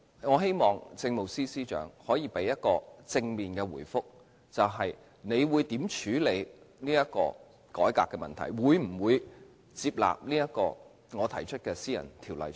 我希望政務司司長可以就此給予正面的回覆，他會如何處理這個改革的問題，會否接納我提出的私人條例草案？